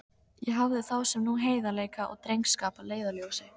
Ég hafði þá sem nú heiðarleika og drengskap að leiðarljósi.